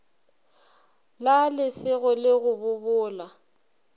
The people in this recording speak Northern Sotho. la lesego le go bobola